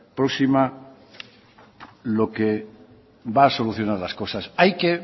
próxima lo que va a solucionar las cosas hay que